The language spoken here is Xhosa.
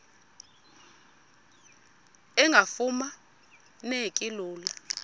engafuma neki lula